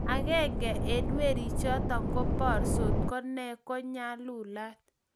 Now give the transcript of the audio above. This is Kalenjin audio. agenge eng' werichoto ko borsot ko nee ko nyalulat.